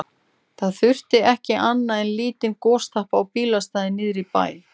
Það þurfti ekki annað en lítinn gostappa á bílastæði niðri í bæ.